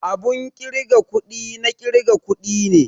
Abun kirga kuɗi na ƙirga kuɗi ne